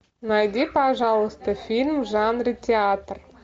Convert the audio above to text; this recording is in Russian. найди пожалуйста фильм в жанре театр